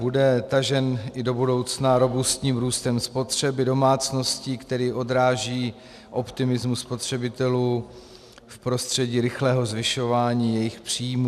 Bude tažen i do budoucna robustním růstem spotřeby domácností, který odráží optimismus spotřebitelů v prostředí rychlého zvyšování jejich příjmů.